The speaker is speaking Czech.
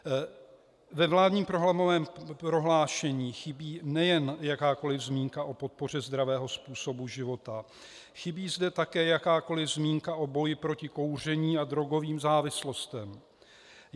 Ve vládním programovém prohlášení chybí nejen jakákoliv zmínka o podpoře zdravého způsobu života, chybí zde také jakákoliv zmínka o boji proti kouření a drogovým závislostem.